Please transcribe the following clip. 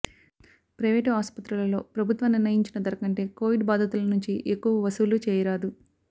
private ఆస్పత్రులలో ప్రభుత్వం నిర్ణయించిన ధరకంటే కోవిడ్ బాధితుల నుంచి ఎక్కువ వసూళ్ళు చేయరాదు